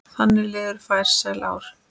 Þannig liðu farsæl ár.